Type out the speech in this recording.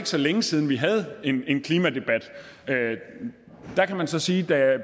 så længe siden vi havde en klimadebat der kan man så sige at